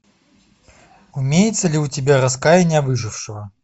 имеется ли у тебя раскаяние выжившего